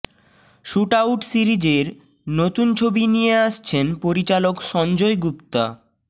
shootout সিরিজের নতুন ছবি নিয়ে আসছেন পরিচালক সঞ্জয় গুপ্তা